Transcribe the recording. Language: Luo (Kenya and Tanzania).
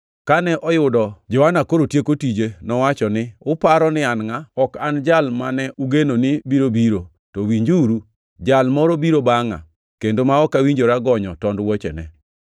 Kane oyudo Johana koro tieko tije, nowacho ni, ‘Uparo ni an ngʼa? Ok an Jal mane ugeno ni biro biro; to winjuru Jal moro biro bangʼa, kendo ok awinjora gonyo tond wuochene.’